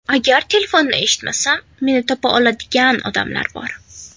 Agar telefonni eshitmasam, meni topa oladigan odamlar bor.